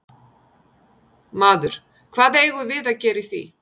Maður: Hvað eigum við að gera í því?